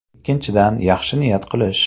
Ikkinchidan, yaxshi niyat qilish.